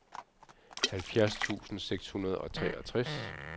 halvfjerds tusind seks hundrede og treogtres